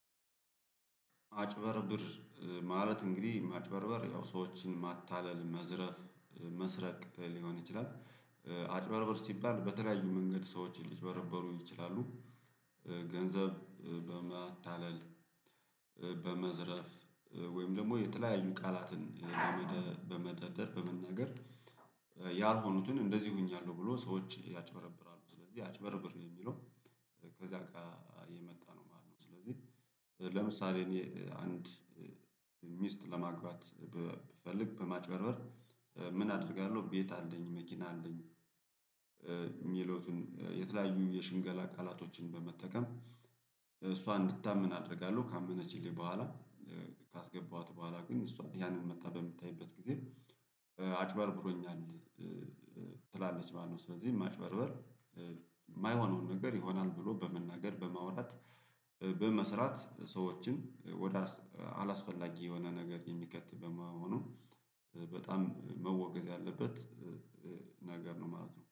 አጭበርብር ማለት እንግዲህ ማጭበርበር ያው ሰዎችን ማታለል መዝረፍ መስረቅ ሊሆን ይችላል። አጭበርበር ሲባል በተለያዩ መንገድ ሰዎችን ሊጭበረበሩ ይችላሉ። ገንዘብ በማታለል በመዝረፍ ወይም ደግሞ የተለያዩ ቃላትን በመደረደር በመናገር። ያልሆኑትን እንደዚህ ሆኛለሁ ብሎ ሰዎች ያጭበረብራሉ ስለዚህ አጭበርብር የሚለው ከዚያ የመጣ ነው ማለት ነው። ስለዚህ ለምሳሌ እኔ አንድ ሚስት ለማግባት ብፈልግ በማጭበርበር ምን አደርጋለሁ ቤት አለኝ መኪና አለኝ። የሚለውን የተለያዩ የሽንገላ ቃላቶችን በመጠቀም እሷ እንድታምን አደርጋለሁ ካመነችልኝ በኋላ። ካስገባኋት በኋላ ግን እሷ ያንን መጥታ በምታይበት ጊዜ አጭበርብሮኛል ትላለች ማለት ነው። ስለዚህ ማጭበርበር የማይሆነውን ነገር ይሆናል ብሎ በመናገር በማውራት። በመስራት ሰዎችን ወደ አላስፈላጊ የሆነ ነገር የሚከት በመሆኑ በጣም መወገዝ ያለበት ነገር ነው ማለት ነው